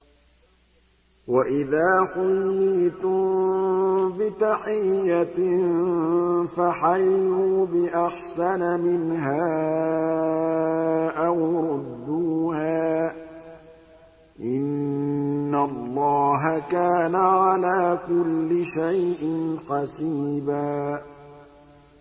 وَإِذَا حُيِّيتُم بِتَحِيَّةٍ فَحَيُّوا بِأَحْسَنَ مِنْهَا أَوْ رُدُّوهَا ۗ إِنَّ اللَّهَ كَانَ عَلَىٰ كُلِّ شَيْءٍ حَسِيبًا